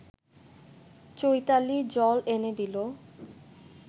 চৈতালি জল এনে দিল